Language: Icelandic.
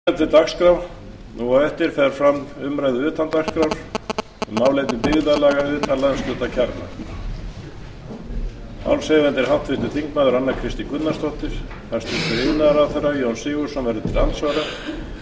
áður en gengið er til dagskrár fer fram umræða utan dagskrár um málefni byggðarlaga utan landshlutakjarna málshefjandi er háttvirtur þingmaður anna kristín gunnarsdóttir hæstvirtur iðnaðarráðherra jón sigurðsson verður til andsvara